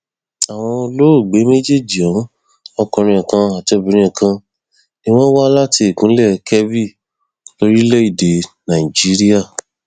àwọn olóògbé méjèèjì ohun ọkùnrin kan àti obìnrin kan ni wọn wá láti ìpínlẹ kebbi lórílẹèdè nàìjíríà